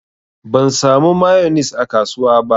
Ban samu mayonis a kasuwa ba.